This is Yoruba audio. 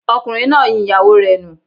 Ọkùnrin náà yin ìyàwó rẹ̀ nù